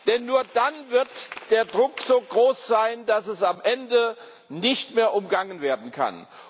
Denn nur dann wird der Druck so groß sein, dass es am Ende nicht mehr umgangen werden kann.